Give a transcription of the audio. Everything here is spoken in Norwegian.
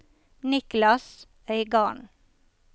Niklas Øygarden